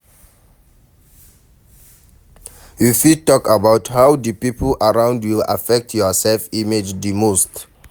You fit talk about how di people around you affect your self-image di most.